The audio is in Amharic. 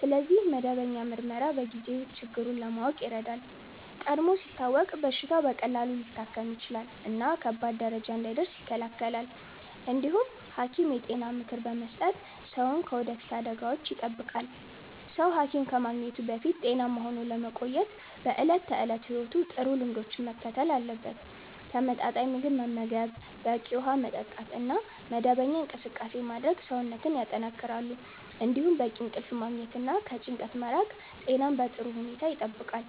ስለዚህ መደበኛ ምርመራ በጊዜ ችግሩን ለማወቅ ይረዳል። ቀድሞ ሲታወቅ በሽታው በቀላሉ ሊታከም ይችላል እና ከባድ ደረጃ እንዳይደርስ ይከላከላል። እንዲሁም ሐኪም የጤና ምክር በመስጠት ሰውን ከወደፊት አደጋዎች ይጠብቃል። ሰው ሐኪም ከማግኘቱ በፊት ጤናማ ሆኖ ለመቆየት በዕለት ተዕለት ሕይወቱ ጥሩ ልምዶችን መከተል አለበት። ተመጣጣኝ ምግብ መመገብ፣ በቂ ውሃ መጠጣት እና መደበኛ እንቅስቃሴ ማድረግ ሰውነትን ያጠናክራሉ። እንዲሁም በቂ እንቅልፍ ማግኘት እና ከጭንቀት መራቅ ጤናን በጥሩ ሁኔታ ይጠብቃል።